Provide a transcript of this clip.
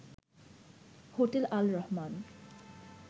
hotel Al Rahman